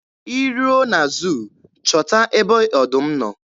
Ị ruo na zuu chọta ebe ọdụm nọ.